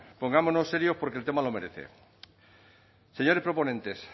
pongámonos serios porque el tema lo merece señores proponentes